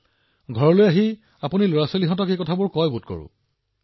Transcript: ঘৰলৈ গৈ সন্তানৰ আগত এইবোৰ কয় নিশ্চয়